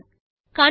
CTRL ஸ்